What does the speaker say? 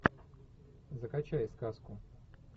закачай сказку